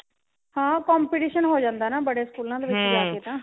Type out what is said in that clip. ਹਾਂ competition ਹੋ ਜਾਂਦਾ ਨਾ ਬੜੇ ਸਕੂਲਾਂ ਦੇ ਵਿੱਚ ਤਾਂ